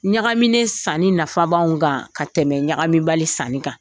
Ɲagamine sanni nafabanw kan ka tɛmɛ ɲagamibali sanni kan.